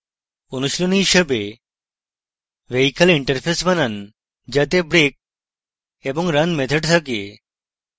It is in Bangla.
অনুশীলনী হিসাবে vehicle interface বানান যাতে brake এবং run methods থাকে